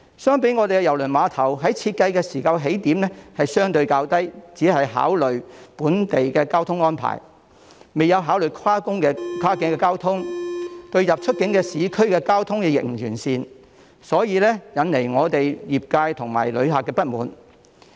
相反，香港郵輪碼頭在設計時的起點相對較低，只考慮本地的交通安排，未有考慮跨境交通，出入市區的交通亦不完善，因而引來業界及旅客的不滿。